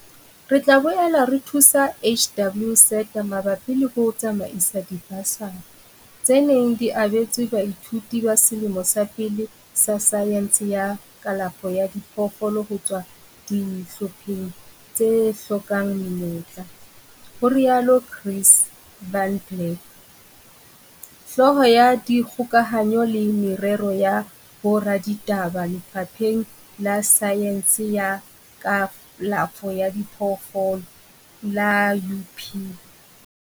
Re tla boela re thuse HWSETA mabapi le ho tsamaisa dibasari, tse neng di abetswe baithuti ba selemo sa pele sa saense ya kalafo ya diphoofolo ho tswa dihlopheng tse hlokang menyetla, ho rialo Chris van Blerk, Hlooho ya Dikgokahanyo le Merero ya Boraditaba Lefapheng la Saense ya Kalafo ya Diphoofolo la UP.